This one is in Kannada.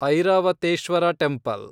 ಐರಾವತೇಶ್ವರ ಟೆಂಪಲ್